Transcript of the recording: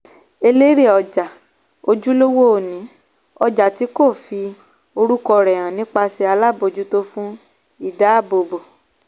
elérè-ọjà - ojúlówó oní-ọjà tí kò fi orúkọ rẹ̀ hàn nípasẹ̀ alábòjútó fún ìdáàbòbò.